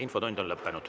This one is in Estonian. Infotund on lõppenud.